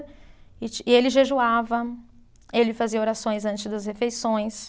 E ti, e ele jejuava, ele fazia orações antes das refeições.